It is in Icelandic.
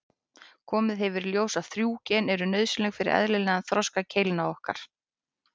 Komið hefur í ljós að þrjú gen eru nauðsynleg fyrir eðlilegan þroska keilna okkar.